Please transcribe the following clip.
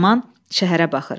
Uzun zaman şəhərə baxır.